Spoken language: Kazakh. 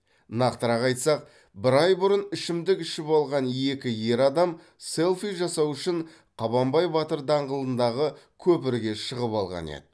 нақтырақ айтсақ бір ай бұрын ішімдік ішіп алған екі ер адам селфи жасау үшін қабанбай батыр даңғылындағы көпірге шығып алған еді